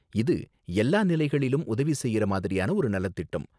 இது எல்லா நிலைகளிலும் உதவி செய்யுற மாதிரியான ஒரு நலத்திட்டம்.